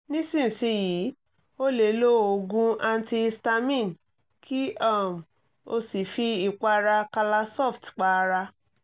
nísinsìnyí o lè lo oògùn antihistamine kí um o sì fi ìpara calasoft pa ara